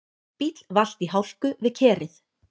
Bíll valt í hálku við Kerið